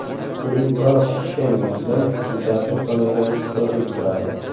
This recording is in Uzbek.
Uning biroz shishgan yuzidan kechasi uxlamagani ko‘rinib turadi.